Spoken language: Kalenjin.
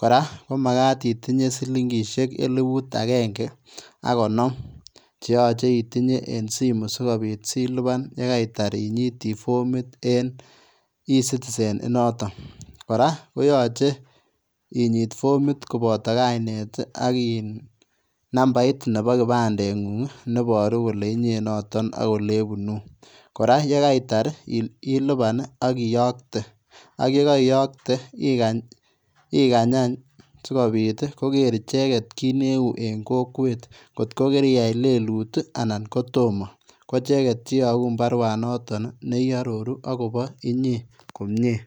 kora ko magaat itinyei silingisheek elibut agenge ak konom che yachei itinyei en simu sikobiit ilubaan ye kaitaar inyitii formiit en [e citizen] initoon kora ko yachei inyiit fomit kobataa kainnet ak iin numbait nebo kipandet nguung nebaruu ole ibunuu kora ye kaitaar ilupaan akiyagte ak ye kaiyagte ikaany aany sikobiit koger ichegeet kiit ne uu en kokwet koot ko kiriyai leluut anan ko tomah ko ichegeet cheyaguun baruet notoon ne aroruu agobo inyei.